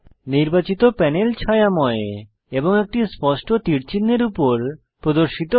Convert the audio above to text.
নির্বাচিত প্যানেল ছায়াময় এবং একটি স্পষ্ট তীর চিহ্ন এর উপর প্রদর্শিত হয়